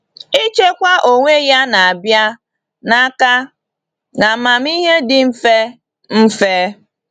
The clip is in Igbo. Ichekwa onwe ya na-abịa n’aka na amamihe dị mfe. mfe.